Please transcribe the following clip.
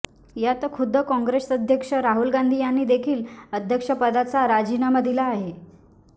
यात खुद्द काँग्रेस अध्यक्ष राहुल गांधी यांनी देखील अध्यक्षपदाचा राजीनामा दिला आहे